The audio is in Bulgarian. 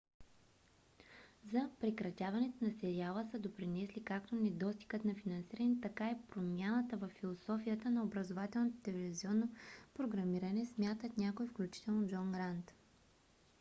за прекратяването на сериала са допринесли както недостигът на финансиране така и промяната във философията на образователното телевизионно програмиране смятат някои включително джон грант